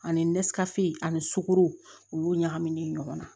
Ani ani sukoro u y'o ɲagamin ɲɔgɔn na